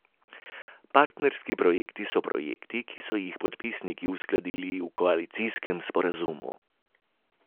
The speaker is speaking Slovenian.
Partnerski projekti so projekti, ki so jih podpisniki uskladili v koalicijskem sporazumu.